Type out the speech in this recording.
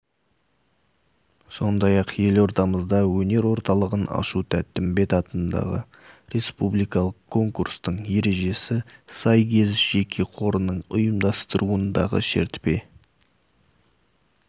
сондай-ақ елордамызда өнер орталығын ашу тәттімбет атындағы республикалық конкурстың ережесі сайгез жеке қорының ұйымдастыруындағы шертпе